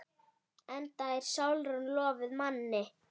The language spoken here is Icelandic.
Enda er Sólrún lofuð manni.